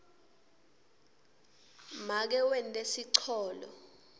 make wente sicholo